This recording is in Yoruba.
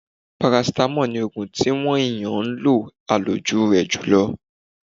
Parasítámọ̀ ní oògun tí wọn èèyàn ń lo àlòjù rẹ̀ jù lọ..